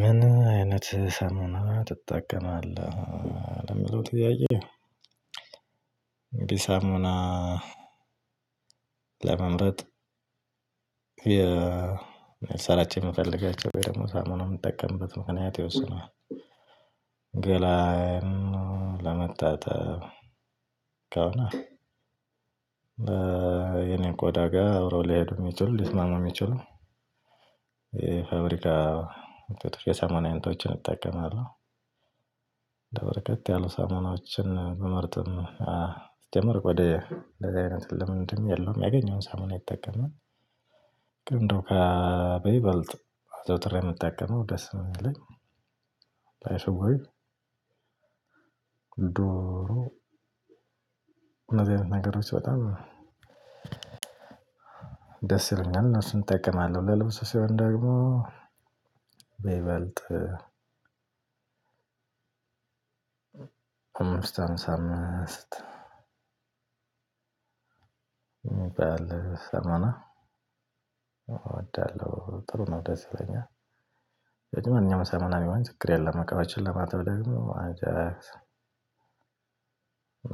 ምን አይነት ሰሙና ትጠቀማለህ? ለሚለው ጥያዬ አንግዲህ ሳሙና ለመምረጥ ልሰራቸው የምፈልጋቸው ወይ ደግሞ ሳሙናውን የምጠቀምበት ምክንያት ይወስነዋል። ገላዬን ለመታጠብ ከሆነ የኔ ቆዳ ጋር አብሮ ሊሄዱ የሚችሉ ሊስማማ የሚችሉ የፋብሪካ የሳሞና አይነቶችን እጠቀማለሁ። በርከት ያሉ ሳሙናዎችን ብመርጥም ሲጀመር ወደ አንደዚህ አይነት ልምድም የለውም ያገኘውን ሳሙና ይጠቀማል። ግን እንደው ከ በይበልጥ አዘውትሬ የምጠቀመው ደስ የሚለኝ ላይፍ ቦይ ድሮ እነዚህ አይነት ነገሮች በጣም በጣም ደስ ይለኛል እነሱን እጠቀማለሁ። ለልብስ ሲሆን ደግሞ በይበልጥ አምስት ሃምሳ አምስት የሚባል ሳሙና እወዳለሁ ጥሩ ነው ደስ ይለኛል። ማንኛውም ሳሙና ቢሆን ችግር የለም። እቃዎችን ለማጠብ ደግሞ አጃክስ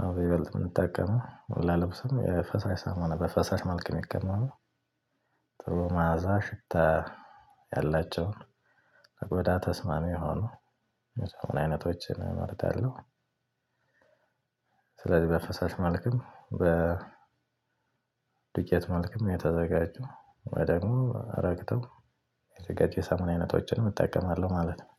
ነው በይበልጥ የምንጠቀመው ላልብስም የ ፈሳሽ ሳሙና በፈሳሽ መልክ የሚቀመሙ ጥሩ መዓዛ ሽታ ያላቸውን ለቆዳ ተስማሚ የሆኑ የ ሳሙና አይነቶችን እመርጣለሁ። ስለዚህ በፈሳሽ መልክም በ ዶቄት መልኩም የተዘጋጁ ወይ ደግሞ ረግተው የተዘጋጀ የ ሳሙና አይነቶችንም እጠቀማለሁ ማለት ነው።